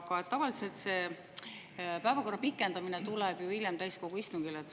Aga tavaliselt pikendamine täiskogu istungil hiljem.